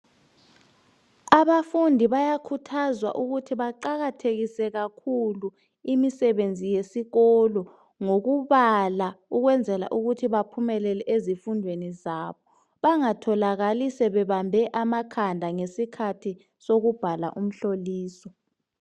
Abafundi bayakhuthazwa ukuthi baqakathekise kakhulu imisebenzi yesikolo ngokubala . Ukwenzela kuthi baphumelele ezifundweni zabo .Bangatholakali sebebambe amakhanda ngesikhathi sokubhala umhloliso .